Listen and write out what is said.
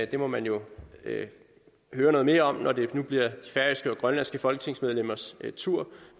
det må man jo høre noget mere om når det nu bliver de færøske og grønlandske folketingsmedlemmers tur